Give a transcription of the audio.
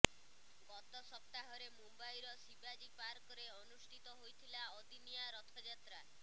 ଗତ ସପ୍ତାହରେ ମୁମ୍ବାଇର ଶିବାଜୀ ପାର୍କରେ ଅନୁଷ୍ଠିତ ହୋଇଥିଲା ଅଦିନିଆ ରଥଯାତ୍ରା